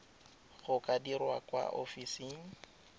di ka dirwa kwa ofising